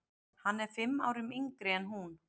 Hann er fimm árum yngri en hún.